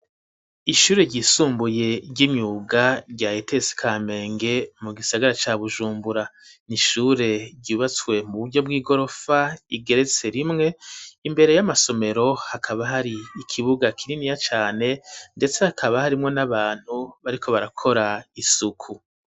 Ishure ryisumbuye ryimyuga rya Etesi Kamenge mu gisagara ca Bujumbura n'ishure ryubatswe mu buryo bw'igorofa igeretse rimwe, imbere y'amasomero hakaba hari ikibuga kininiya cane, ndetse hakaba harimwo n'abantu bariko barakora isuku.